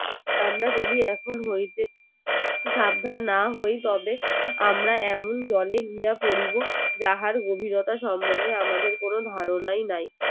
আমরা যদি এখন হইতে সাবধান না হই তবে আমরা এমন জলে গিয়া পরিব যাহার গভীরতা সম্মন্ধে আমাদের কোনো ধারণাই নাই